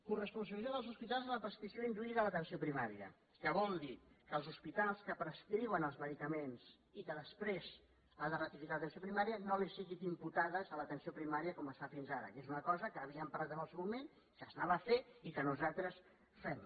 coresponsabilització dels hospitals en la prescripció induïda a l’atenció primària que vol dir que els hospitals que prescriuen els medicaments i que després ha de ratificar l’atenció primària no li siguin imputats a l’atenció primària com es fa fins ara que és una cosa que havíem parlat en el seu moment que s’anava a fer i que nosaltres fem